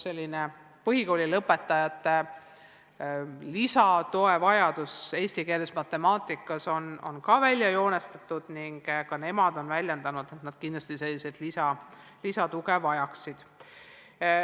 Nende puhul on välja joonistunud lisatoe vajadus eesti keeles ja matemaatikas ning ka nemad on väljendanud, et sellist lisatuge nad kindlasti vajaksid.